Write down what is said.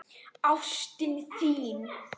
Ástin þín!